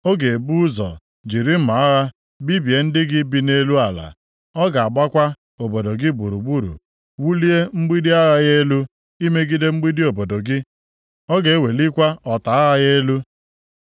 Ọ ga-ebu ụzọ jiri mma agha bibie ndị gị bi nʼelu ala. Ọ ga-agbakwa obodo gị gburugburu, wulie mgbidi agha ya elu, imegide mgbidi obodo gị. Ọ ga-ewelikwa ọta agha ya elu.